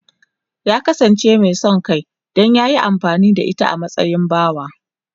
Ya kasance mai son kai don ya yi amfani da ita a matsayin bawa.